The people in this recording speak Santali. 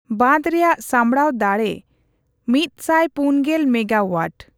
ᱵᱟᱸᱫᱷ ᱨᱮᱭᱟᱜ ᱥᱟᱢᱵᱲᱟᱣ ᱫᱟᱲᱮ ᱢᱤᱛᱥᱟᱴ ᱯᱩᱱᱜᱮᱞ ᱢᱮᱜᱟᱳᱣᱟᱴ ᱾